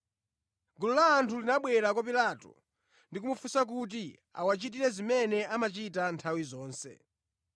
Gulu la anthu linabwera kwa Pilato ndi kumufunsa kuti awachitire zimene amachita nthawi zonse.